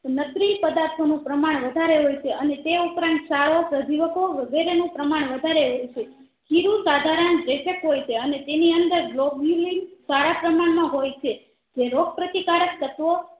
પદાર્થો નું પ્રમાણ વધારે હોય છે અને તે ઉપરાંત સાળો પ્રજીવોકો વગેરે નું પ્રમાણ વધારે રહે છે ખીરું સાધારણ રેચક હોય છે તેની અંદર સારા પ્રમાણ માં હોય છે એજે રોગ પ્રતિકારક તત્વો